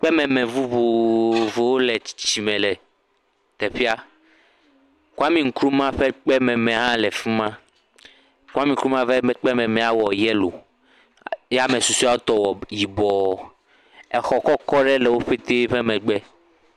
Kpememe vovovowo le teƒea, Kwami Nkrumah ƒe kpememe hã le fi ma, Kwami Nkrumah ƒe kpememea wɔ yɛlo, ya ame susɔeawo tɔ wɔ yibɔɔ, exɔ kɔkɔ ɖe wo pete be megbe.